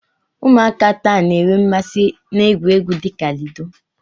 Ụmụaka taa na-enwe mmasị na egwuregwu dị ka ludo.